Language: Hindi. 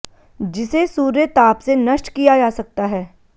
जिसे सूर्य ताप से नष्ट किया जा सकता है